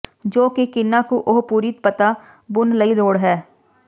ਜੋ ਕਿ ਕਿੰਨਾ ਕੁ ਉਹ ਪੂਰੀ ਪੱਤਾ ਬੁਣ ਲਈ ਲੋੜ ਹੈ